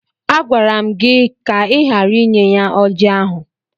Agwara m gị ka ị ghara inye ya ọjị ahụ!